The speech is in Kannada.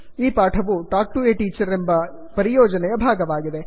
ಈ ಪಾಠವು ಟಾಕ್ ಟು ಎ ಟೀಚರ್ ಎಂಬ ಪರಿಯೋಜನೆಯ ಭಾಗವಾಗಿದೆ